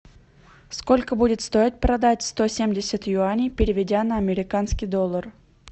сколько будет стоить продать сто семьдесят юаней переведя на американский доллар